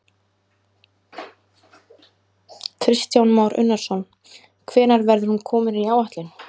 Kristján Már Unnarsson: Hvenær verður hún komin í áætlun?